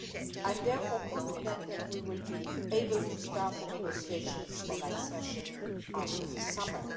I am therefore confident that we will be able to start the negotiations on accession after the summer.